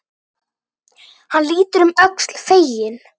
Hann lítur um öxl, feginn.